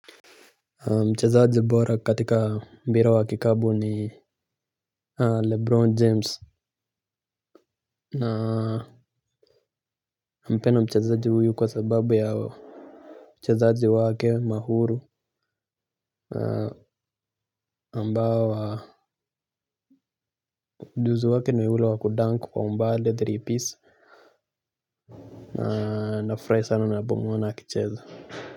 Mchezaji bora katika mpira wa kikapu ni Lebron James. Nampenda mchezaji huyu kwa sababu yao. Mchezaji waake mahuru ambao wa Mduzu wake ni ule wa kudank kwa umbali wa three pis. Na furahi sana nabongo na akicheza.